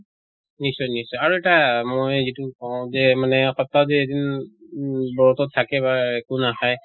নিশ্চয় নিশ্চয় আৰু এটা মই যিটো কওঁ যে মানে সপ্তাহত যে এদিন উহ বৰ্তত থাকে বা একো নাখায়,